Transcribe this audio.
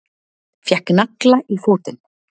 Fékk nagla í fótinn